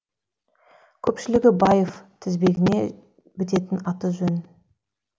көпшілігі баев тізбегіне бітетін ат жөн